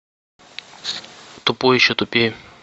тупой и еще тупее